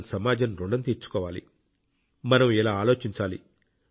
మనం సమాజం రుణం తీర్చుకోవాలి మనం ఇలా ఆలోచించాలి